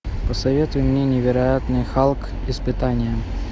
посоветуй мне невероятный халк испытание